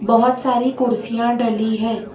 बहोत सारी कुर्सियां डली है।